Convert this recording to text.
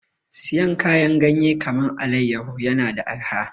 Siyan kayan ganyen kaman allayaho na da arha